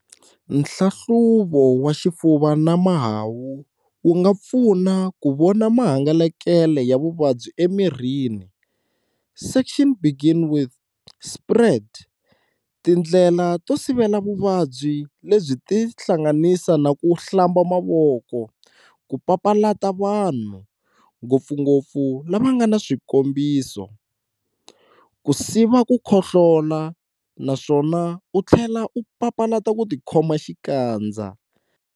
Nhlahluvo wa xifuva na mahahu wu nga pfuna ku vona mahangalele ya vuvabyi e mirini.and section begin"Spread",Tindlela to sivela vuvabyi lebyi ti hlanganisa na ku hlamba mavoko, ku papalata vanhu, ngopfungopfu lava ngana swikombiso, ku siva ku khohlola, naswona u tlela u papalata ku ti khoma xikandza.